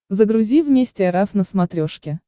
загрузи вместе эр эф на смотрешке